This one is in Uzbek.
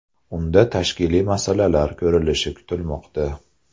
Unda tashkiliy masalalar ko‘rilishi kutilmoqda.